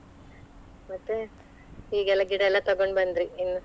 ಮತ್ತೆ ಹೀಗೆಲ್ಲಾ ತಕೊಂಡ್ ಬಂದ್ರಿ ಇನ್ನು?